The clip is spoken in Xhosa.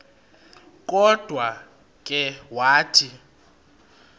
kodwa ke wathi